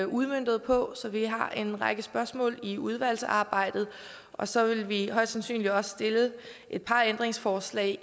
udmøntet på så vi har en række spørgsmål i udvalgsarbejdet og så vil vi højst sandsynligt også stille et par ændringsforslag